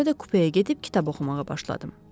Sonra da kupəyə gedib kitab oxumağa başladım.